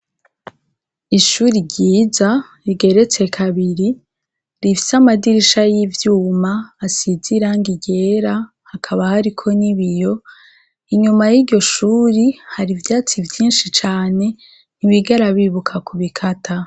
Ishure ryiza rigeretse kabiri rifise amashure y'ivyuma asize irangi ryera hakaba hariko n'ibiyo ,inyuma y'iryo shure hari ivyatsi vyinshi cane ntibigera bibuka kubikata.